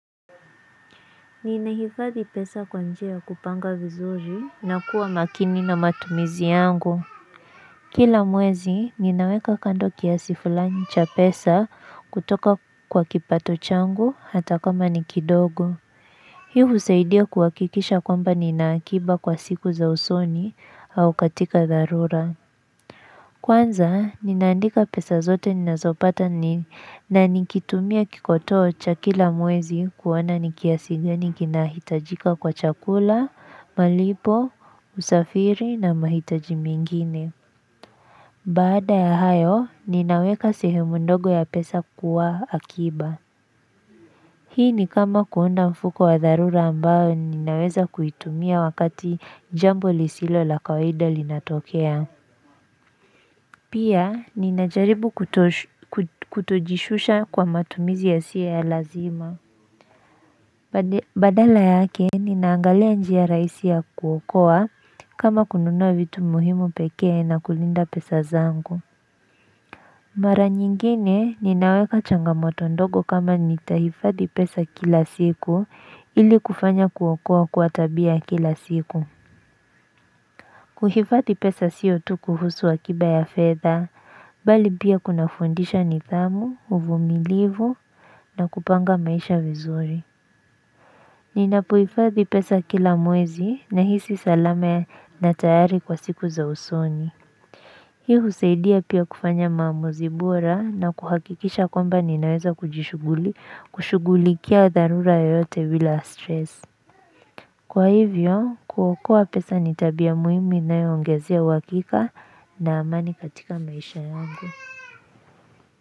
Ninahifadhi pesa kwa njia ya kupanga vizuri na kuwa makini na matumizi yangu Kila mwezi ninaweka kando kiasi fulani cha pesa kutoka kwa kipato changu hata kama ni kidogo Hii husaidia kuhakikisha kwamba nina akiba kwa siku za usoni au katika dharura Kwanza, ninaandika pesa zote ninazopata na nikitumia kikotoo cha kila mwezi kuona ni kiasi gani kinahitajika kwa chakula, malipo, usafiri na mahitaji mingine. Baada ya hayo, ninaweka sehemu ndogo ya pesa kwa akiba. Hii ni kama kuunda mfuko wa dharura ambao ninaweza kuitumia wakati jambo lisilo la kawaida linatokea. Pia, ninajaribu kutojishusha kwa matumizi yasiyo ya lazima. Badala yake, ninaangalia njia rahisi ya kuokoa kama kununua vitu muhimu pekee na kulinda pesa zangu. Mara nyingine, ninaweka changamoto ndogo kama nitahifadhi pesa kila siku ili kufanya kuokoa kuwa tabia ya kila siku. Kuhifadhi pesa sio tu kuhusu akiba ya fedha, bali pia kunafundisha nidhamu, uvumilivu na kupanga maisha vizuri. Ninapohifadhi pesa kila mwezi nahisi salama na tayari kwa siku za usoni. Hii husaidia pia kufanya maamuzi bora na kuhakikisha kwamba ninaweza kujishughuli, kushughulikia dharura yoyote bila stress. Kwa hivyo, kuokoa pesa n itabia muhimu inayoongezea uhakika na amani katika maisha yangu.